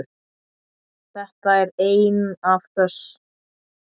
Þetta er ein af þess